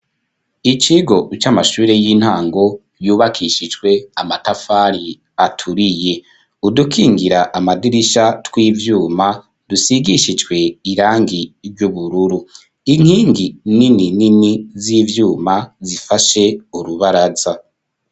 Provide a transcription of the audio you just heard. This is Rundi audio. Ikigo, c'amashure y'intango, yubakishijwe amatafari, aturiye; udukingira amadirisha, tw'ivyuma, dusigishijwe irangi, ry'ubururu; inkingi nini nini, z'ivyuma, zifashe urubaraza.